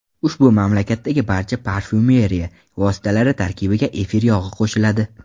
Ushbu mamlakatdagi barcha parfyumeriya vositalari tarkibiga efir yog‘i qo‘shiladi.